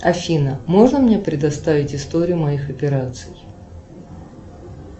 афина можно мне предоставить историю моих операций